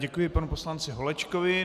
Děkuji panu poslanci Holečkovi.